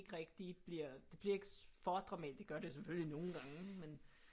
Rigtig bliver det bliver ikke for dramatisk det gør det selvfølgelig nogle gange men